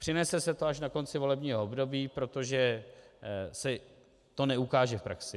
Přinese se to až na konci volebního období, protože se to neukáže v praxi.